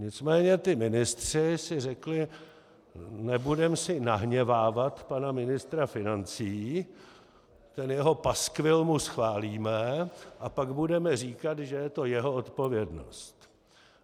Nicméně ti ministři si řekli: Nebudeme si nahněvávat pana ministra financí, ten jeho paskvil mu schválíme a pak budeme říkat, že je to jeho odpovědnost.